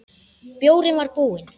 Bjórinn var búinn.